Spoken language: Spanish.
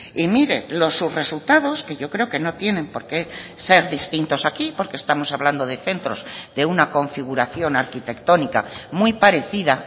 y mire los resultados que yo creo que no tienen por qué ser distintos aquí porque estamos hablando de centros de una configuración arquitectónica muy parecida